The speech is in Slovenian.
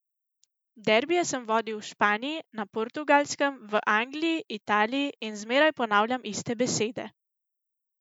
Derbije sem vodil v Španiji, na Portugalskem, v Angliji, Italiji in zmeraj ponavljam iste besede.